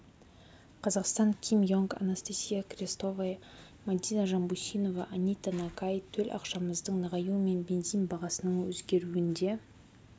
қазақстан ким йонг анастасия крестовая мадина жанбусинова анита нагай төл ақшамыздың нығаюы мен бензин бағасының өзгеруінде